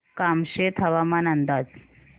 कामशेत हवामान अंदाज